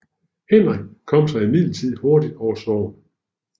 Henrik kom sig imidlertid hurtigt over sorgen